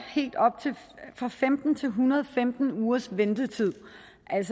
fra femten til en hundrede og femten ugers ventetid